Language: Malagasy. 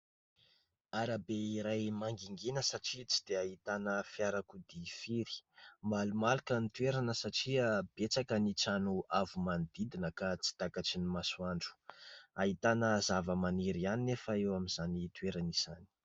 Arabe iray mangingina satria tsy dia ahitana fiarakodia firy. Malomaloka ny toerana satria betsaka ny trano avo manodidina ka tsy takatry ny masoandro ; ahitana zavamaniry ihany anefa eo amin'izany toerana izany.